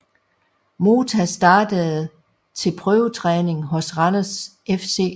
Mota startede til prøvetræning hos Randers FC